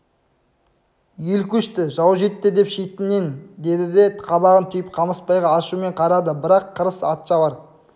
ел көшті жау жетті деп шетіңнен деді де қабағын түйіп қамысбайға ашумен қарады бірақ қырыс атшабар